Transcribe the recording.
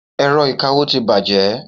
Ẹ̀rọ ìkawó ti bàjẹ́.